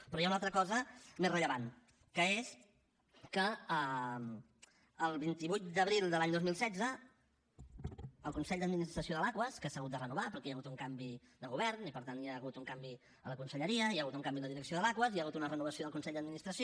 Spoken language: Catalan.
però hi ha una altra cosa més rellevant que és que el vint vuit d’abril de l’any dos mil setze el consell d’administració de l’aquas que s’ha hagut de renovar perquè hi ha hagut un canvi de govern i per tant hi ha hagut un canvi a la conselleria hi ha hagut un canvi en la direcció de l’aquas hi ha hagut una renovació del consell d’administració